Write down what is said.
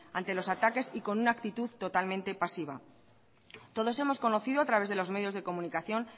ante los ataques y con una actitud totalmente pasiva todos hemos conocido a través de los medios de comunicación